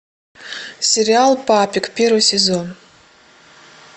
сериал папик первый сезон